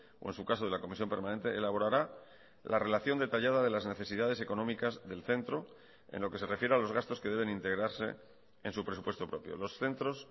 o en su caso de la comisión permanente elaborará la relación detallada de las necesidades económicas del centro en lo que se refiere a los gastos que deben integrarse en su presupuesto propio los centros